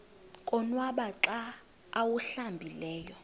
konwaba xa awuhlambileyo